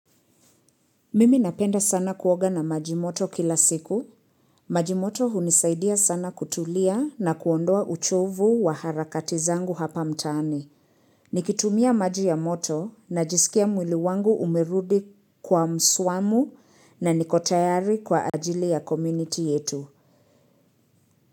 Mimi napenda sana kuoga na maji moto kila siku. Majimoto hunisaidia sana kutulia na kuondoa uchovu wa harakati zangu hapa mtaani. Nikitumia maji ya moto na jisikia mwili wangu umerudi kwa mswamu na nikotayari kwa ajili ya community yetu.